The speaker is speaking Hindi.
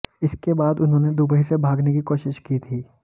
इसके बाद उन्होंने दुबई से भागने की कोशिश की थी